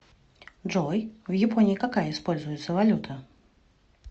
джой в японии какая используется валюта